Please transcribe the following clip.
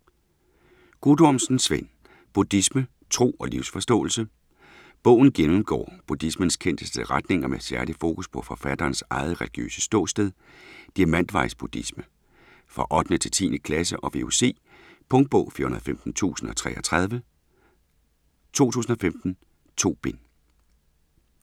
Guttormsen, Svend: Buddhisme: tro og livsforståelse Bogen gennemgår buddhismens kendteste retninger med særlig fokus på forfatterens eget religiøse ståsted: diamantvejs-buddhisme. For 8.-10. klasse og VUC. Punktbog 415033 2015. 2 bind.